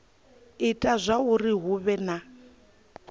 ita zwauri hu vhe na